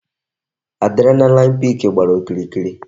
Adrenaline peak gbàrà okirikiri